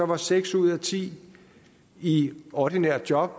var seks ud af ti i ordinært job